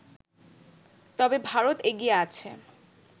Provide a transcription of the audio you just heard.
তবে ভারত এগিয়ে আছে